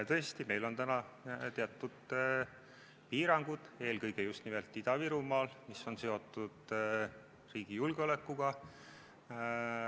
Tõesti, meil on täna teatud piirangud, eelkõige just nimelt Ida-Virumaal, mis on seotud riigi julgeolekuga.